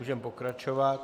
Můžeme pokračovat.